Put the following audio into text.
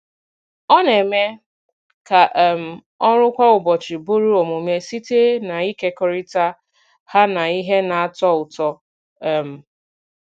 Ọ na-eme ka um ọrụ kwa ụbọchị bụrụ omume site n’ịkekọrịta ha na ihe na-atọ ụtọ. um